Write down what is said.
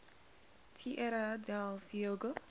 tierra del fuego